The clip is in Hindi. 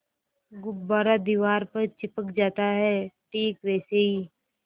गुब्बारा दीवार पर चिपक जाता है ठीक वैसे ही